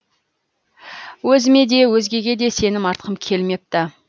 өзіме де өзгеге де сенім артқым келмепті